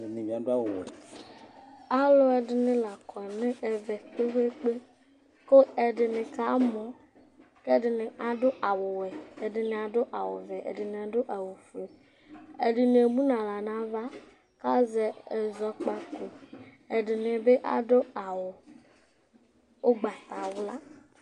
Alʋ ɛdɩnɩ la kɔ nʋ ɛvɛ kpe-kpe-kpe kʋ ɛdɩnɩ kamɔ kʋ ɛdɩnɩ adʋ awʋwɛ Ɛdɩnɩ adʋ awʋvɛ, ɛdɩnɩ adʋ awʋfue Ɛdɩnɩ emu nʋ aɣla nʋ ava kʋ azɛ ɛzɔkpako Ɛdɩnɩ bɩ adʋ awʋ ʋgbatawla